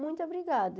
Muito obrigada.